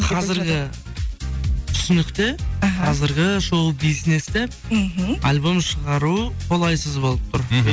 қазіргі түсінікте іхі қазіргі шоу бизнесте мхм альбом шығару қолайсыз болып тұр мхм